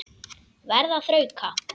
Verð að þrauka.